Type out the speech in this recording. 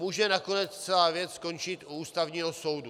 Může nakonec celá věc skončit u Ústavního soudu.